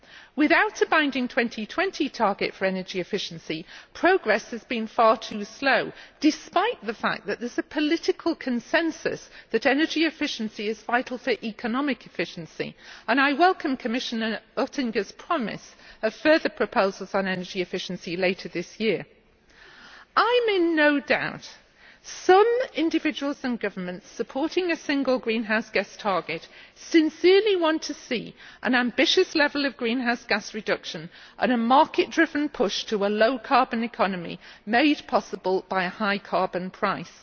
Without a binding 2020 target for energy efficiency, progress has been far too slow, despite the fact that there is a political consensus that energy efficiency is vital for economic efficiency, and I welcome Commissioner Oettinger's promise of further proposals on energy efficiency later this year. I am in no doubt that some individuals and governments supporting a single greenhouse gas target sincerely want to see an ambitious level of greenhouse gas reduction and a market driven push to a low carbon economy made possible by a high carbon price.